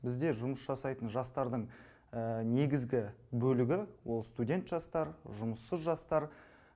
бізде жұмыс жасайтын жастардың негізгі бөлігі ол студент жастар жұмыссыз жастар